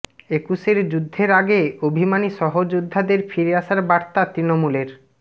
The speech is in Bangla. একুশের যুদ্ধের আগে অভিমানী সহযোদ্ধাদের ফিরে আসার বার্তা তৃণমূলের